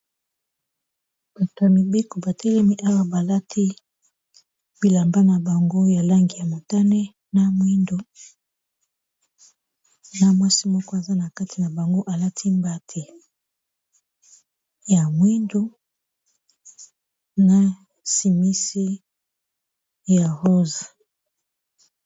Bato ya mibeko batelemi awa balati bilamba na bango ya langi ya motane na mwindu na mwasi moko aza na kati na bango alati mbati ya mwindu na simisi ya rose.